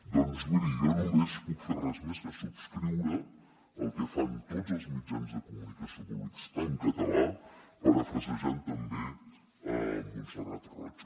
doncs miri jo només puc fer res més que subscriure el que fan tots els mitjans de comunicació públics en català parafrasejant també montserrat roig